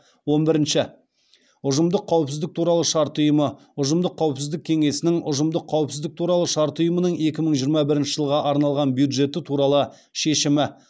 он бірінші ұжымдық қауіпсіздік туралы шарт ұйымы ұжымдық қауіпсіздік кеңесінің ұжымдық қауіпсіздік туралы шарт ұйымының екі мың жиырма бірінші жылға арналған бюджеті туралы шешімі